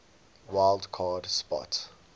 wild card spot